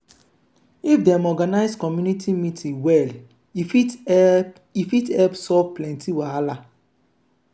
if dem organize community meeting well e fit help e fit help solve plenty wahala.